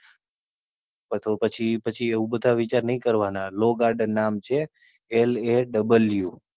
હા તો પછી પછી આવા બધા વિચાર નહી કરવા ના Law garden નામ છે LAW